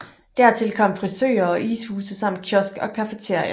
Dertil kom frisører og ishuse samt kiosk og cafeteria